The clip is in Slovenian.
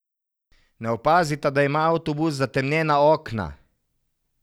Ne opazita, da ima avtobus zatemnjena okna.